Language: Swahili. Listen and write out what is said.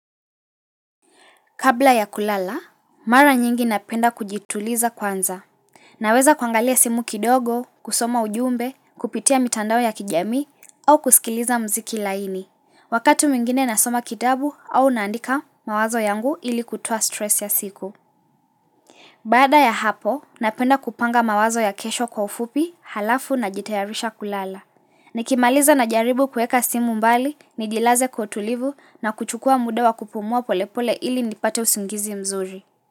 Kabla ya kulala, mara nyingi napenda kujituliza kwanza. Naweza kuangalia simu kidogo, kusoma ujumbe, kupitia mitandao ya kijamii, au kusikiliza muziki laini. Wakati mwingine nasoma kitabu au naandika mawazo yangu ili kutoa stress ya siku. Baada ya hapo, napenda kupanga mawazo ya kesho kwa ufupi, halafu najitayarisha kulala. Nikimaliza najaribu kuweka simu mbali, nijilaze kwa utulivu na kuchukua muda wa kupumua polepole ili nipate usingizi mzuri.